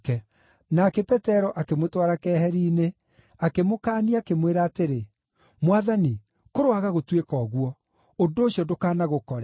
Nake Petero akĩmũtwara keheri-inĩ, akĩmũkaania, akĩmwĩra atĩrĩ, “Mwathani, kũroaga gũtuĩka ũguo! Ũndũ ũcio ndũkanagũkore!”